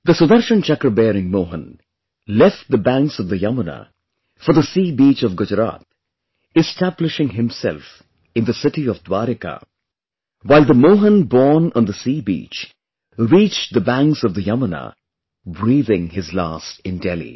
The Sudarshan Chakra bearing Mohan left the banks of the Yamuna for the sea beach of Gujarat, establishing himself in the city of Dwarika, while the Mohan born on the sea beach reached the banks of the Yamuna, breathing his last in Delhi